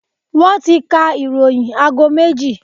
Wọ́n ti ka ìròyìn aago méjì.